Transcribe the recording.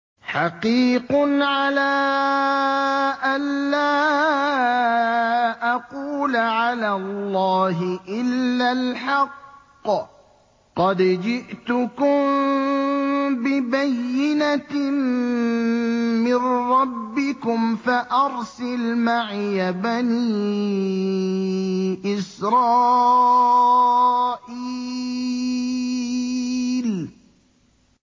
حَقِيقٌ عَلَىٰ أَن لَّا أَقُولَ عَلَى اللَّهِ إِلَّا الْحَقَّ ۚ قَدْ جِئْتُكُم بِبَيِّنَةٍ مِّن رَّبِّكُمْ فَأَرْسِلْ مَعِيَ بَنِي إِسْرَائِيلَ